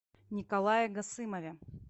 николае гасымове